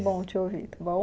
Bom te ouvir, está bom?